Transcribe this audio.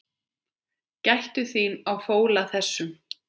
Gættu þín á fóla þessum.